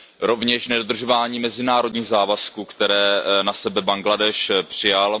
Rovněž nedodržování mezinárodních závazků, které na sebe Bangladéš přijal.